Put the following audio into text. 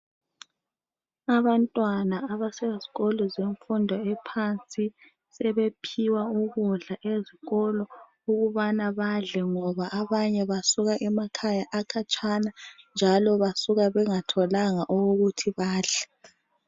Abantwana abasezikolo zemfundo ephansi sebephiwa ukudla ezikolo ukubana badle ngoba abanye basuka emakhaya akhatshana njalo basuka bengatholanga okokuthi badle.